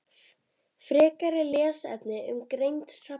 Frekari lesefni um greind hrafna